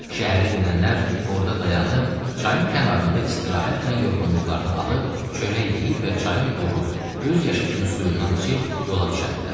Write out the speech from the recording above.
Şəhərə gedənlər orada dayanıb, çayın kənarında istirahətlə yorğunluqlarını alıb, çörək yeyib və çayın duru, göz yaşı kimi suyundan içib yola düşərdilər.